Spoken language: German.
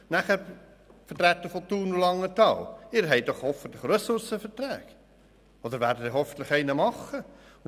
Nun zu den Vertretern von Thun und Langenthal: Sie haben doch hoffentlich einen Ressourcenvertrag oder werden einen solchen abschliessen.